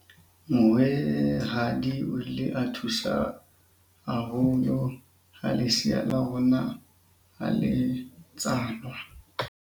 mohwehadi o ile a thusa haholo ha lesea la rona ha le tswalwa